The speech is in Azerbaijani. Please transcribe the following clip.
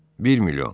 Bir milyon.